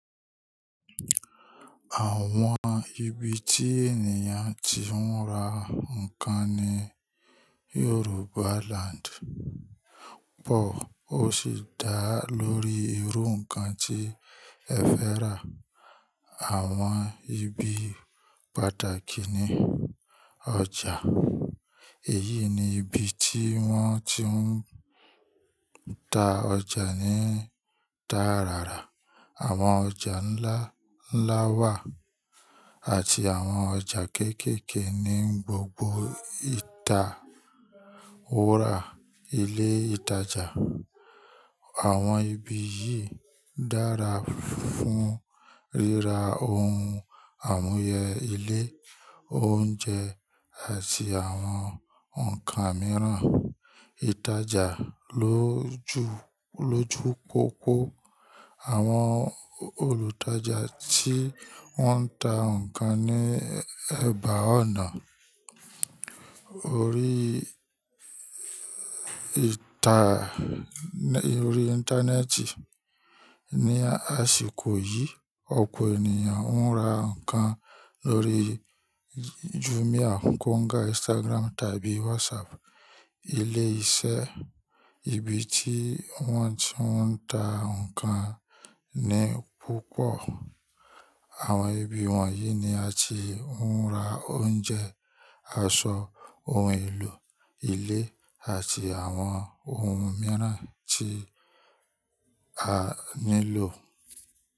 Àwọn ibi tí ènìyàn ti ń ra nǹkan ní Yorùbá Land pọ̀ ó sì dá lórí irú nǹkan tí ẹ fẹ́ rà. Àwọn ibi pàtàkì ni ọjà. Èyí ni ibi tí wọ́n ti ń ta ọjà ní tarara. Àwọn ọjà ńlá ńlá wà àti àwọn ọjà kéékèèké ní gbogbo ìta òwòra ilé ìtajà. Àwọn ibi yìí dára fún ríra ohun amúyẹ ilé, oúnjẹ àti àwọn ǹkan mìíràn. Ìtajà lójú, lójú pópó. Àwọn olùtajà tí wọ́n ń ta ǹkan ní ẹ̀bá ọ̀nà orí ìta, orí Íńtánẹ́ẹ̀tì. Ni àsìkò yìí, ọ̀pọ̀ ènìyàn ń ra nkan lórí Jumia, Konga, Instagram tàbí WhatsApp. Ilé iṣẹ́, ibi tí wọ́n ti ń ta ǹkan ní púpọ̀. Àwọn ibi wọ̀nyí ni a ti ń ra oúnjẹ, aṣọ, ohun èlò ilé àti àwọn ohun mìíràn tí a nílò.